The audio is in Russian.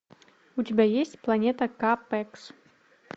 у тебя есть планета ка пэкс